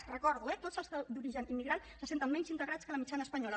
ho recordo eh tots els d’origen immigrant se senten menys integrats que la mitjana espanyola